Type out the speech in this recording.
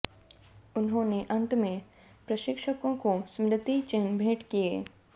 उन्होंने अंत में प्रशिक्षको को स्मृति चिन्हट भेंट किये